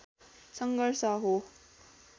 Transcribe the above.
सङ्घर्ष हो